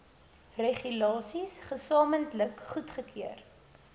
regulasies gesamentlik goedgekeur